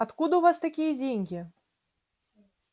откуда у вас такие деньги